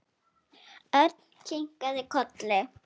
Örn kinkaði kolli.